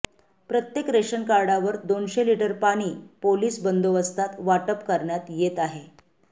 प्रत्येक रेशनकार्डावर दोनशे लिटर पाणी पोलीस बंदोबस्तात वाटप करण्यात येत आहे